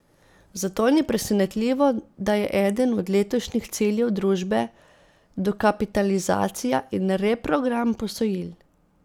Zato ni presenetljivo, da je eden od letošnjih ciljev družbe dokapitalizacija in reprogram posojil.